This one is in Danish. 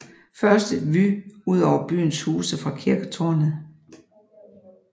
Først et vue ud over byens huse fra kirketårnet